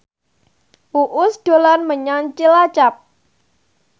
Uus dolan menyang Cilacap